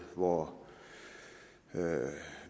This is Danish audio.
hvor man